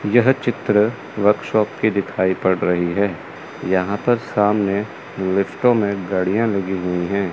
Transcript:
यह चित्र वर्कशॉप की दिखाई पड़ रही है यहां पर सामने लिफ्टों में गाड़ियां लगी हुई हैं।